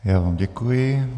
Já vám děkuji.